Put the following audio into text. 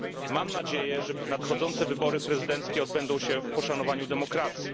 Mam nadzieję, że nadchodzące wybory prezydenckie odbędą się w poszanowaniu demokracji.